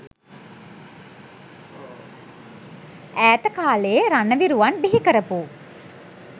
ඈත කාලයේ රණවිරුවන් බිහි කරපු